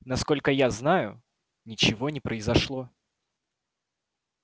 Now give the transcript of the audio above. насколько я знаю ничего не произошло